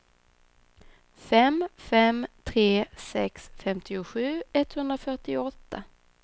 fem fem tre sex femtiosju etthundrafyrtioåtta